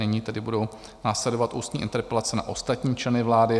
Nyní tedy budou následovat ústní interpelace na ostatní členy vlády.